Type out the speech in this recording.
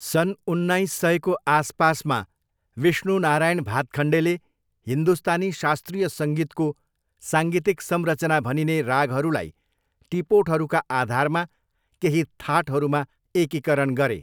सन् उन्नाइस सयको आसपासमा, विष्णु नारायण भातखण्डेले हिन्दुस्तानी शास्त्रीय सङ्गीतको साङ्गीतिक संरचना भनिने रागहरूलाई टिपोटहरूका आधारमा केही थाटहरूमा एकीकरण गरे।